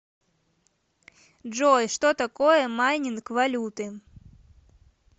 джой что такое майнинг валюты